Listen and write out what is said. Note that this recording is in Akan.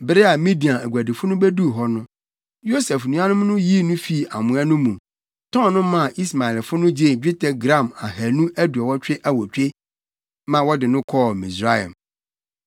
Bere a Midian aguadifo no beduu hɔ no, Yosef nuanom no yii no fii amoa no mu, tɔn no maa Ismaelfo no gyee dwetɛ gram ahannu aduonu awotwe (228) ma wɔde no kɔɔ Misraim.